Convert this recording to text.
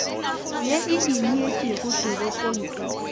ye e ineetšego torong e